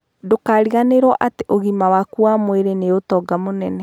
Ndũkariganĩrũo atĩ ũgima waku wa mwĩrĩ nĩ ũtonga mũnene.